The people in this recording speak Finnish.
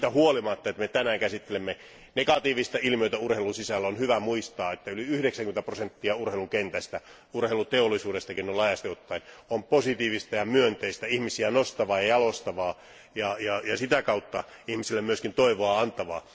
Siitä huolimatta, että me tänään käsittelemme negatiivista ilmiötä urheilun sisällä, on hyvä muistaa, että yli 90 prosenttia urheilun kentästä, urheiluteollisuudestakin, on laajasti ottaen positiivista ja myönteistä, ihmisiä nostavaa ja jalostavaa ja sitä kautta ihmisille myös toivoa antavaa.